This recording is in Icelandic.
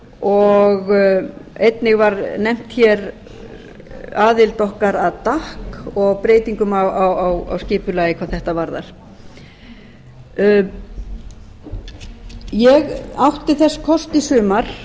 og einnig var nefnd aðild okkar að gatt og breytingum á skipulagi hvað þetta varðar ég átti þess kost í sumar